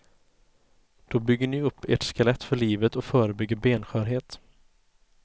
Då bygger ni upp ert skelett för livet och förebygger benskörhet.